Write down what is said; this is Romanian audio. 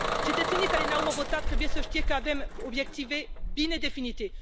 Cetățenii care ne au votat trebuie să știe că avem obiective bine definite.